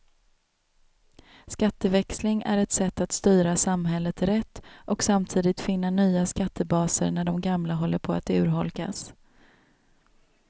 Skatteväxling är ett sätt att styra samhället rätt och samtidigt finna nya skattebaser när de gamla håller på att urholkas.